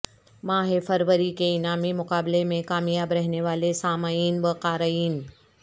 ماہ فروری کے انعامی مقابلے میں کامیاب رہنے والے سامعین و قارئین